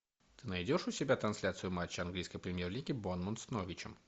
ты найдешь у себя трансляцию матча английской премьер лиги борнмут с норвичем